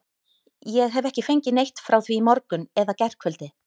Ég hef ekki fengið neitt frá því í morgun eða gærkvöldi.